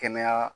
Kɛnɛya